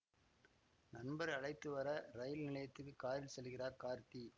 நண்பரை அழைத்து வர ரயில் நிலையத்துக்கு காரில் செல்கிறார் கார்த்தி